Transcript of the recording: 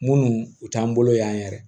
Munnu u t'an bolo yan yɛrɛ